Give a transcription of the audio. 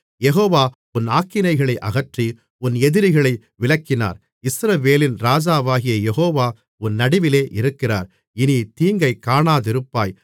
யெகோவா உன் ஆக்கினைகளை அகற்றி உன் எதிரிகளை விலக்கினார் இஸ்ரவேலின் ராஜாவாகிய யெகோவா உன் நடுவிலே இருக்கிறார் இனித்தீங்கைக் காணாதிருப்பாய்